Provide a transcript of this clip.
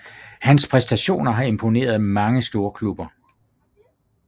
Hans præstationer har imponeret mange storklubber